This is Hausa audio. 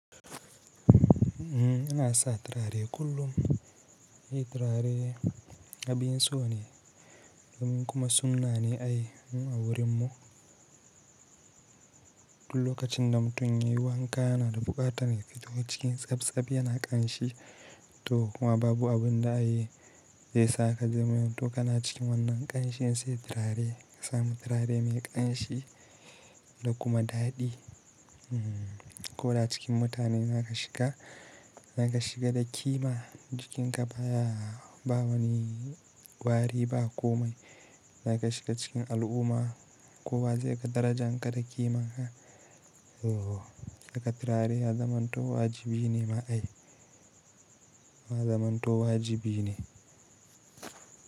Ina sa turare kullum. Turare abinso ne domin kuma sunna ne ai mu wurin mu. Duk lokacin da mutum ya yi wanka yana da buƙatar ya fito cikin tsabtsab yana ƙanshi to kuma babu abin da ya iya sa ka zaman to kana cikin wannan ƙanshin sai turare ka samu turare mai ƙanshi da kuma daɗi. Koda cikin mutane zaka shiga, zaka shiga da kima, jikinka baya ba wani wari ba komai. Zaka shiga cikin al'umma kowa zai ga darajan ka da kiman ka. To saka turare ya zamanto wajibi ne ma ai, ya zamanto wajibi ne.